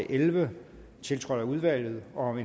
elleve tiltrådt af udvalget om